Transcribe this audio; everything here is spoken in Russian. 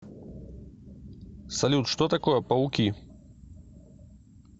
салют что такое пауки